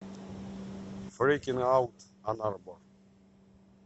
фрикин аут анарбор